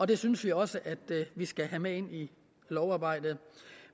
det synes vi også at vi skal have med ind i lovarbejdet